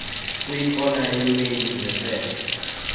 kwikona yemain nethird